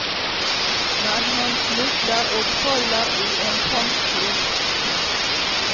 Men han snubler og faller i en fangstgrop.